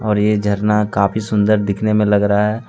और यह झरना काफी सुंदर दिखने में लग रहा है।